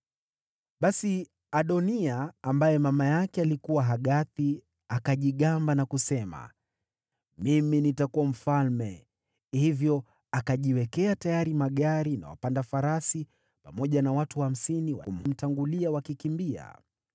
Basi Adoniya, ambaye mama yake alikuwa Hagithi, akajigamba na kusema, “Mimi nitakuwa mfalme.” Hivyo akajiwekea tayari magari na wapanda farasi, pamoja na watu hamsini wa kumtangulia wakikimbia.